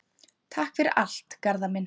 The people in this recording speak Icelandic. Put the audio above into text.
Takk fyrir allt, Garðar minn.